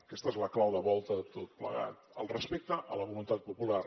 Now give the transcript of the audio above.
aquesta és la clau de volta de tot plegat el respecte a la voluntat popular